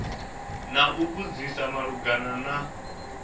na u vhudzisa malugana na